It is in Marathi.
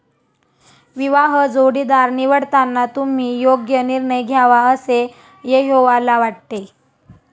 विवाह जोडीदार निवडताना तुम्ही योग्य निर्णय घ्यावा असे यहोवाला वाटते.